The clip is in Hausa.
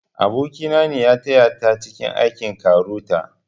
Aboki na ne ya taya ta cike aikin KAROTA